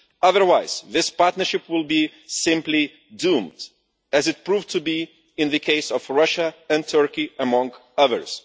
Otherwise, this partnership will be simply doomed, as it proved to be in the cases of Russia and Turkey, among others.